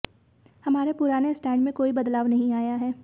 हमारे पुराने स्टैंड में कोई बदलाव नहीं आया है